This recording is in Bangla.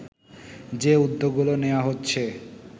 যে উদ্যোগগুলো নেওয়া হচ্ছে